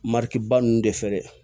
Mariba nun de fɛ dɛ